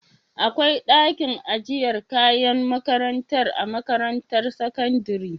akwai dakin ajiyar kayan makarantar a makarantar sakandari?